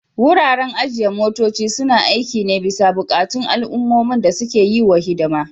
Wuraren ajiye motoci suna aiki ne bisa buƙatun al'ummomin da suke yi wa hidima.